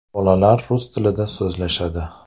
Bolalar rus tilida so‘zlashadi.